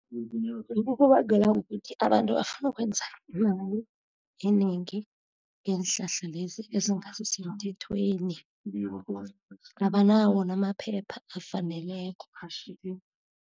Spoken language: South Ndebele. Kubangelwa kukuthi abantu bafuna ukwenza imali enengi ngeenhlahla lezi ezingasi semthethweni. Abanawo namaphepha afaneleko.